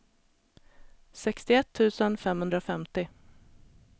sextioett tusen femhundrafemtio